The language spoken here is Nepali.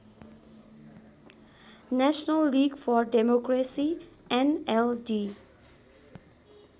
national league for democracy NLD